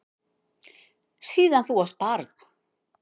Síðan þú varst barn.